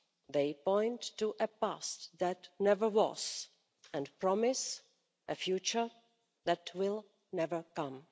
They point to a past that never was and promise a future that will never come.